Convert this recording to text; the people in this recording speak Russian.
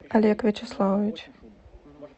олег вячеславович